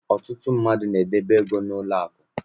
Ọtụtụ mmadụ n'edebe ego ha n'ụlọaku.